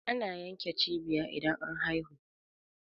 ana yanke cibiya idan an haihu